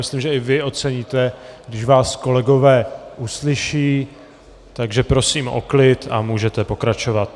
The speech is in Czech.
Myslím, že i vy oceníte, když vás kolegové uslyší, takže prosím o klid a můžete pokračovat.